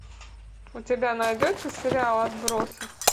у тебя найдется сериал отбросы